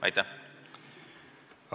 Aitäh!